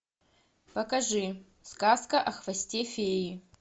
покажи сказка о хвосте феи